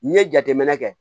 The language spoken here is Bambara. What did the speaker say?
N ye jateminɛ kɛ